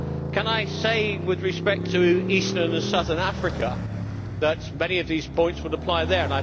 Can I say, with respect to eastern and southern Africa, that many of these points would apply there?